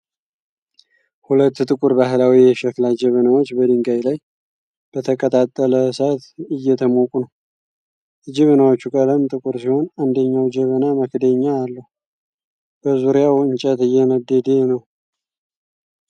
ሁለት ጥቁር ባህላዊ የሸክላ ጀበናዎች በድንጋይ ላይ በተቀጣጠለ እሳት እየተሞቁ ነው። የጀበናዎቹ ቀለም ጥቁር ሲሆን አንደኛው ጀበና መክደኛ አለው። በዙሪያው እንጨት እየነደደ ነዉ።